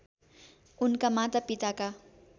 उनका माता पिताका